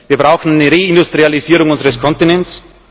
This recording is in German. Wir brauchen eine Reindustrialisierung unseres Kontinents.